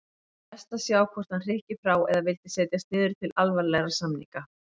Best að sjá hvort hann hrykki frá eða vildi setjast niður til alvarlegra samninga.